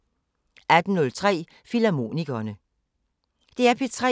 DR P3